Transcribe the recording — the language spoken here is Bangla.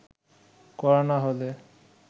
করা না হলে